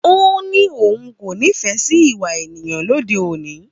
Ó ní òun kò nífẹ̀ẹ́ sí ìwà ènìyàn lóde òní